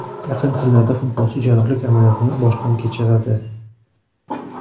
Yaqin kunlarda futbolchi jarrohlik amaliyotini boshdan kechiradi.